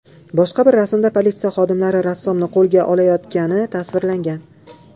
Boshqa bir rasmda politsiya xodimlari rassomni qo‘lga olayotgani tasvirlangan.